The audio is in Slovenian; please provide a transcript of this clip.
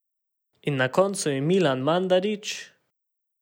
In na koncu je Milan Mandarić ...